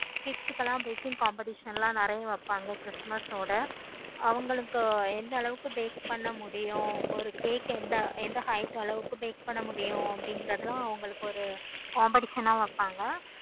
kids க்கு எல்லாம் baking competition எல்லாம் நெறைய வைப்பாங்க christmas ஓட அவங்களுக்கு எந்த அளவுக்கு bake பண்ண முடியும். ஒரு cake எந்த height எந்த அளவுக்கு bake பண்ண முடியும் அப்படிங்கிறது எல்லாம் ஒரு competition ஆஹ் வைப்பாங்க